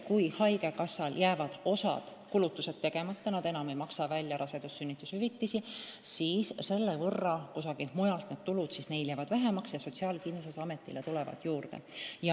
Kui haigekassal jääb osa kulutusi tegemata, kui ta enam ei maksa rasedus- ja sünnitushüvitisi, siis selle võrra jäävad talle eraldatavad summad vähemaks ja Sotsiaalkindlustusametile tuleb raha juurde.